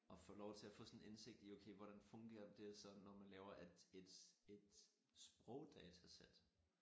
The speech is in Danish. Og få lov til at få sådan en indsigt i okay hvordan fungerer det så når man laver et et et sprogdatasæt